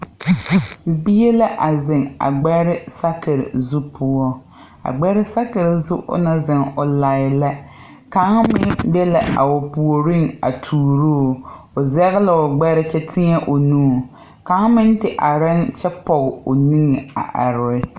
Bie la a zeŋ a gbɛrɛɛ sakire zu poɔ a gbɛre sakire zu ona zeŋ o lai la kaŋ meŋ be la a o puoriŋ a tuuroo o zegeloo gbɛre kyɛ teɛ o nu kaŋ meŋ te areɛɛŋ kyɛ pɔg o nige are.